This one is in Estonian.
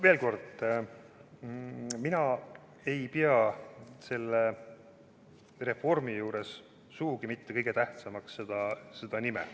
Veel kord: mina ei pea selle reformi juures sugugi mitte kõige tähtsamaks uue ameti nime.